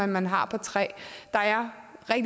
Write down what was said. man har på træ der